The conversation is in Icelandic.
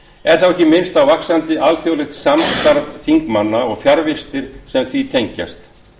er þá ekki minnst á vaxandi alþjóðlegt samstarf þingmanna og fjarvistir sem því tengjast